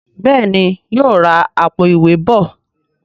Béèni yóò rá Àpò-ìwé bọ